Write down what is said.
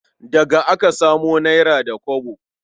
Daga aka samu nera da kwabo.